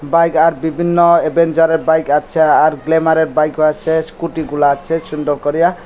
Bike আর বিভিন্ন অ্যাডভেঞ্চারের বাইক আছে আর গ্ল্যামারের বাইকও আছে স্কুটিগুলা আছে সুন্দর করিয়া।